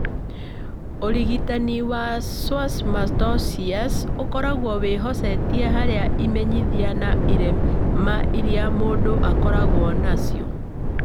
Ũrigitani wa schwannomatosis ũkoragwo wĩhocetie harĩ imenyithia na irema iria mũndũ akoragwo nacio.